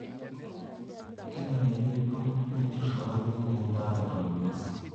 Kenarikino nejur illangeni endaa eton inosi.